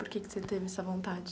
Por que que você teve essa vontade?